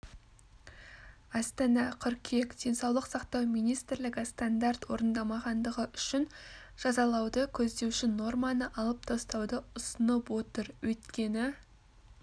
астана қыркүйек денсаулық сақтау министрлігі стандарт орындамағандығы үшін жазалауды көздеуші норманы алып тастауды ұсынып отыр өйткені